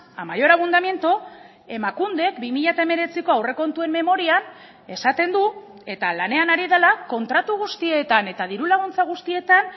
a mayor abundamiento emakundek bi mila hemeretziko aurrekontuen memorian esaten du eta lanean ari dela kontratu guztietan eta diru laguntza guztietan